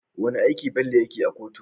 Wane aiki Bello yake a kotu?